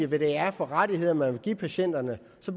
hvad det er for rettigheder man vil give patienterne